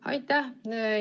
Aitäh!